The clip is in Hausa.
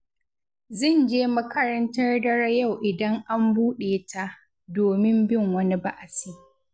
Zan je makarantar dare yau idan an buɗe ta, domin bin wani ba'asi